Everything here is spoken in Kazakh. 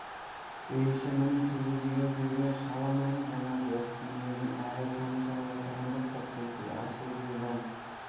үй іші мұның шөже деген сөзіне шала нанып жаңағы оқыс мінезіне әлі тамашалап отырғанда сыртқы есік ашылып жылдам